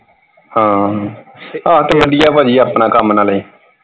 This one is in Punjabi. ਹਾਂ ਤੇ ਆਹ ਤੇ ਵਧੀਆ ਪਾਜੀ ਨਾਲੇ ਆਪਣਾ ਕੰਮ ਨਾਲੇ।